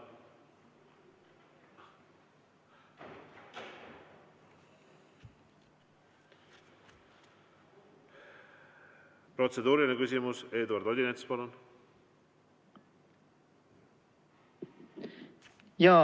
Protseduuriline küsimus, Eduard Odinets, palun!